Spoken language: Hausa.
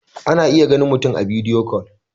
ana iya ganin mutum a bidiyo kol